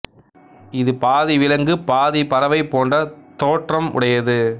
இது பாதி விலங்கு பாதி பறவை போன்ற தோற்றம் உடையது